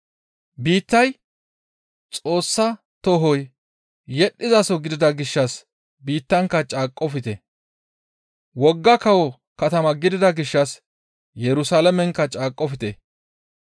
Biittay Xoossa tohoy yedhdhizaso gidida gishshas biittankka caaqqofte. Wogga kawo katama gidida gishshas Yerusalaamenkka caaqqofte.